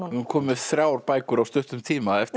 komnar þrjár bækur á stuttum tíma eftir